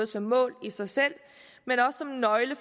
som mål i sig selv men også som en nøgle